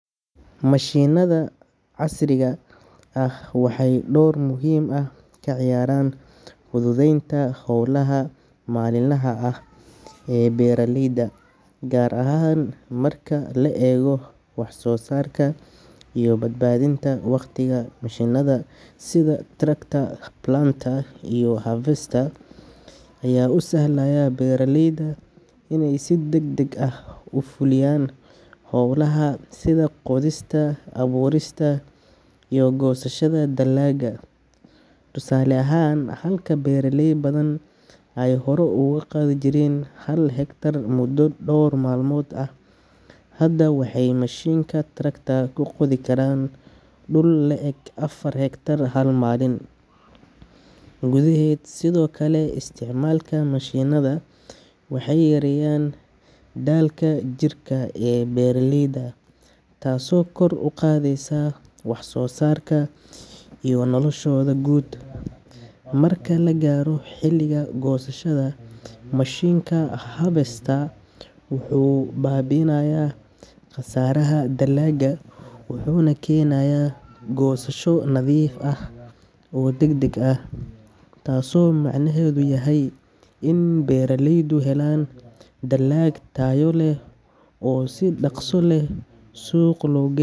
Mashiinnada casriga ah waxay door muhiim ah ka ciyaaraan fududeynta hawlaha maalinlaha ah ee beeraleyda, gaar ahaan marka la eego wax-soo-saarka iyo badbaadinta wakhtiga. Mashiinnada sida tractor, planter, iyo harvester ayaa u sahlaya beeraleyda iney si degdeg ah u fuliyaan hawlaha sida qodista, abuurista iyo goosashada dalagga. Tusaale ahaan, halka beeraley badan ay hore ugu qodi jireen hal hektar muddo dhowr maalmood ah, hadda waxay mashiinka tractor ku qodi karaan dhul la eg afar hektar hal maalin gudaheed. Sidoo kale, isticmaalka mashiinnada waxay yareeyaan daalka jirka ee beeraleyda, taasoo kor u qaadaysa wax-soo-saarka iyo noloshooda guud. Marka la gaaro xilliga goosashada, mashiinka harvester wuxuu baabi'inayaa khasaaraha dalagga, wuxuuna keenayaa goosasho nadiif ah oo degdeg ah, taasoo macnaheedu yahay in beeraleydu helaan dalag tayo leh oo si dhaqso leh suuq loogu gey.